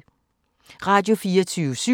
Radio24syv